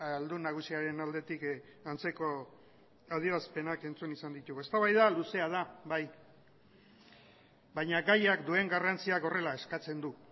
aldun nagusiaren aldetik antzeko adierazpenak entzun izan ditugu eztabaida luzea da bai baina gaiak duen garrantziak horrela eskatzen du